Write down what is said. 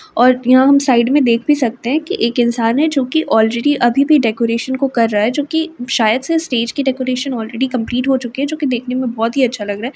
और यहाँ हम साइड मैं देख भी सकते हैं की एक इंसान हैं जोकि ओलरेडी अभी भी डेकोरेशन को कर रहा है जोकि शायद से स्टेज की डेकोरेशन ओलरेडी कम्पलीट हो चुकी है। जो के देखने मैं बोहोत ही अच्छा लग रहा हैं।